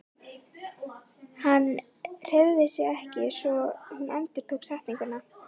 Hann hreyfði sig ekki svo hún endurtók setninguna.